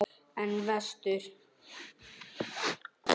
En vestur?